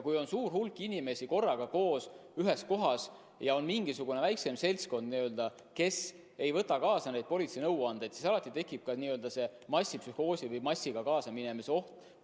Kui on suur hulk inimesi korraga koos ühes kohas ja on mingisugune väiksem seltskond, kes ei võta kuulda politsei nõuandeid, siis alati tekib massipsühhoosi või massiga kaasaminemise oht.